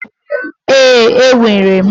Ee, enwere m,